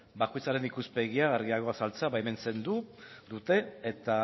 bakoitzaren ikuspegia argiago azaltzea baimentzen dute eta